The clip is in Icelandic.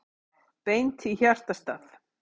Beint í hjartastað